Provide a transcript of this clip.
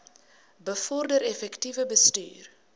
bevorder effektiewe bestuur